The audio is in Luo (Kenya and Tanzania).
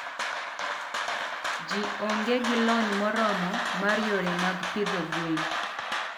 ji onge gi lony moromo mar yore mag pidho gwen .